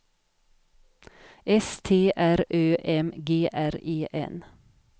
S T R Ö M G R E N